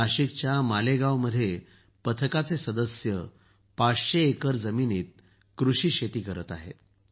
नाशिकच्या मालेगावमध्ये पथकाचे सदस्य ५०० एकर जमिनीत कृषी शेती करत आहेत